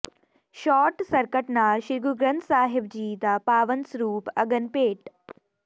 short circuit ਨਾਲ ਸ੍ਰੀ ਗੁਰੂ ਗ੍ਰੰਥ ਸਾਹਿਬ ਜੀ ਦਾ ਪਾਵਨ ਸਰੂਪ ਅਗਨ ਭੇਟ